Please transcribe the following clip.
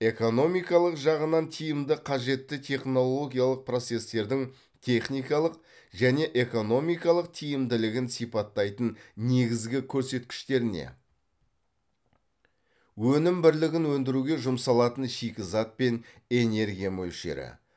экономикалық жағынан тиімді қажетті технологиялық процестердің техникалық және экономикалық тиімділігін сипаттайтын негізгі көрсеткіштеріне өнім бірлігін өндіруге жұмсалатын шикізат пен энергия мөлшері